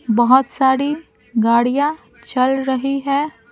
बहुत सारी गाड़ियां चल रही हैं ।